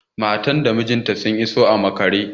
Matar da mijinta sun iso a maƙare